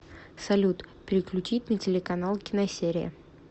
салют переключить на телеканал киносерия